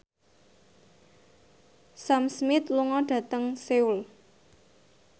Sam Smith lunga dhateng Seoul